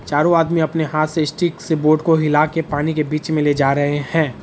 चारों आदमी अपने हाथों से स्टिक से बोट को हिला के पानी के बीच मे ले जा रहे है।